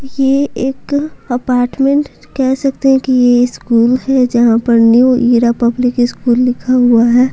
यह एक अपार्टमेंट कह सकते हैं कि यह स्कूल है जहां पर न्यू ईरा पब्लिक स्कूल लिखा हुआ है।